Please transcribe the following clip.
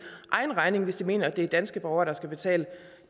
egen regning hvis de mener at det er danske borgere der skal betale